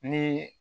Ni